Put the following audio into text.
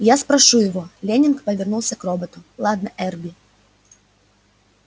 я спрошу его лэннинг повернулся к роботу ладно эрби